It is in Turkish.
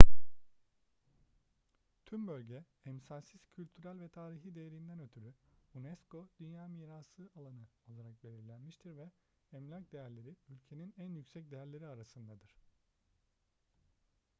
tüm bölge emsalsiz kültürel ve tarihi değerinden ötürü unesco dünya mirası alanı olarak belirlenmiştir ve emlak değerleri ülkenin en yüksek değerleri arasındadır